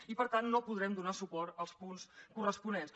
i per tant no podrem donar suport als punts corresponents